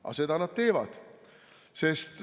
Aga seda nad teevad.